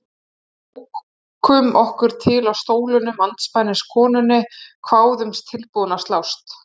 Við ókum okkur til á stólunum andspænis konunni, kváðumst tilbúin að slást.